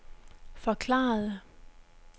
forklarede